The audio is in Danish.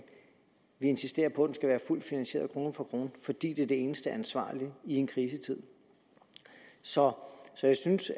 vi insisterer på at den skal være fuldt finansieret krone for krone fordi det er det eneste ansvarlige i en krisetid så jeg synes